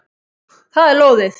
Það er lóðið.